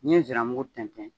N ye ziramugu tɛntɛn.